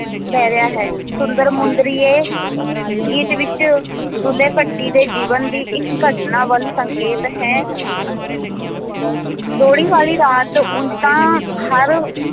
ਲੈ ਲਿਆ ਹੈ, ਸੁੰਦਰ ਮੁੰਦਰੀਏ ਗੀਤ ਵਿੱਚ ਦੁੱਲ੍ਹੇ ਭੱਟੀ ਦੇ ਜੀਵਨ ਦੀ ਇੱਕ ਘਟਨਾ ਵੱਲ ਸੰਕੇਤ ਹੈ ਲੋਹੜੀ ਵਾਲੀ ਰਾਤ ਉਂਞ ਤਾਂ ਹਰ